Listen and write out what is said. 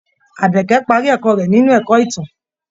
Àbẹ̀kẹ́ parí ẹ̀kọ́ rẹ̀ nínú ẹ̀kọ́ ìtàn.